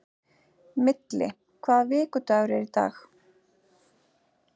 Milli, hvaða vikudagur er í dag?